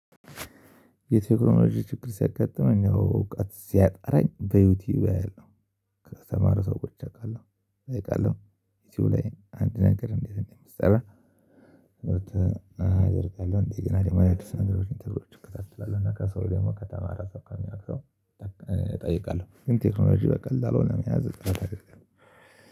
የቴክኖሎጂ ችግር ሲያጋጥመኝ እውቀት ሲያጥረኝ በዩቲዩብ አያለሁ። ከተማረ ሰው ቁጭ አውቃለሁ እውቀት ነው ዩቲዩብ ላይ አንድ ነገር እንዴት ነው የሚሰራ? ሰርች አደርጋለሁ እንደገና ደግሞ አዲስ ነገሮችን ትርጉም እጠይቃለሁ እና ከሰው ደግሞ ከተማረ ከሚያደርገው። እጠይቃለሁ ግን ቴክኖሎጂ በቀላሉ መያዝ አጠራጣሪ ነው።